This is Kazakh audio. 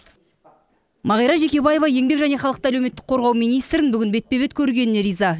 мағира жекебаева еңбек және халықты әлеуметтік қорғау министрін бүгін бетпе бет көргеніне риза